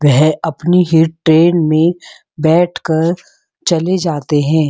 वह अपनी ही ट्रैन में बैठ कर चले जाते हैं।